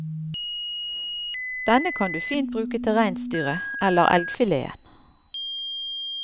Denne kan du fint bruke til reinsdyret eller elgfileten.